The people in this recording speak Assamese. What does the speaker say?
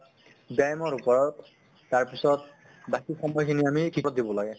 ব্য়ায়ামৰ ওপৰত তাৰ পিছত বাকী সময় খিনি আমি ত দিব লাগে